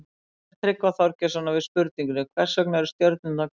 Í svari Tryggva Þorgeirssonar við spurningunni Hvers vegna eru stjörnurnar hvítar?